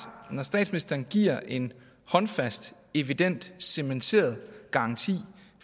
at når statsministeren giver en håndfast evident cementeret garanti